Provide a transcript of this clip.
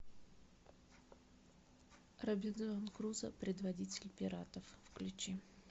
робинзон крузо предводитель пиратов включи